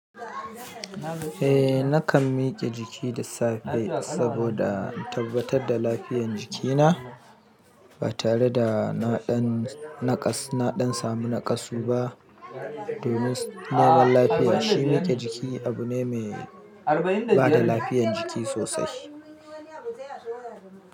Eh nakan mike jiki duk safe saboda in tabbatar da lafiyan jikina, ba tare da naɗan samu naƙasu ba. Domin neman lafiya, shi mike jiki abu ne mai bada lafiyan jiki sosai.